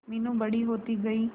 मीनू बड़ी होती गई